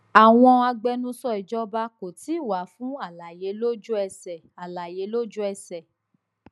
àwọn agbẹnusọ ìjọba kò tíì wà fún àlàyé lójú ẹsẹ àlàyé lójú ẹsẹ